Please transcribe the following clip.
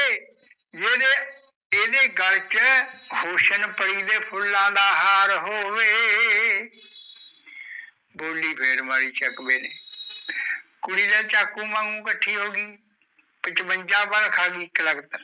ਇਦੇ ਗੱਲ ਵਿਚ ਹੁਸਨ ਫਫੁੱਲਾਂ ਦਾ ਹਰ ਹੋਬੇ ਬੋਲੀ ਫਰ ਮਾਰੀ ਚਕਵੇ ਨੇ ਕੁੜੀ ਚਾਕੂ ਵਾਂਗੂ ਕਾਠੀ ਹੋਗੀ ਪਚਬੁਨਜਾ ਵੱਲ ਖਾਗੀ ਇਕ ਲਾਗਤ